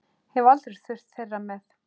Hef aldrei þurft þeirra með.